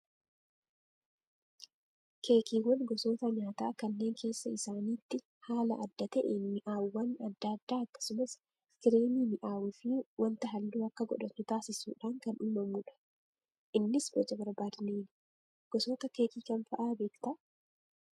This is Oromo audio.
Keekiiwwan gosoota nyaataa kanneen keessa isaaniitti haala adda ta'een mi'aawwan adda addaa akkasumas kireemii mi'aawuu fi wanta halluu akka godhatu taasisuudhaan kan uumamaudha. Innis boca barbaadneeni. Gosoota keekii kam fa'aa beektaa?